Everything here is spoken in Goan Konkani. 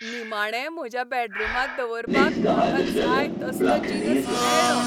निमाणें म्हज्या बॅडरूमांत दवरपाक म्हाका जाय तसलो जिनस मेळ्ळो.